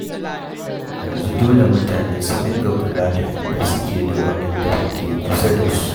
Yanzu dole mutane su dinga kula da inda suke da waɗanda ke kusa da su.